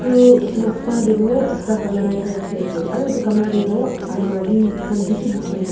etu noksa tae toh ekta camara ekta dekhi ase aru etu camara tae toh almari khan bishi dekhi ase.